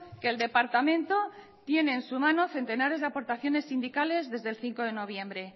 que el departamento tiene en sus manos centenares de aportaciones sindicales desde el cinco de noviembre